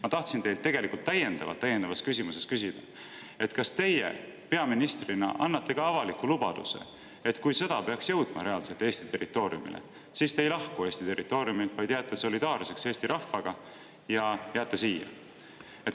Ma tahtsin teilt täiendavas küsimuses küsida tegelikult seda, kas teie peaministrina annate avaliku lubaduse, et kui sõda peaks jõudma reaalselt Eesti territooriumile, siis te ei lahku Eesti territooriumilt, vaid jääte solidaarseks Eesti rahvaga ja jääte siia.